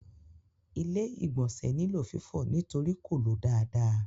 Ilé-ìgbọ̀nsẹ̀ nílò fífọ̀ nítorí kò ló dáadáa.